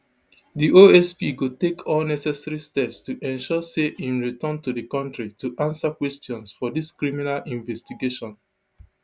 di osp go take all necessary steps to ensure say im return to di kontri to answer questions for dis criminal investigation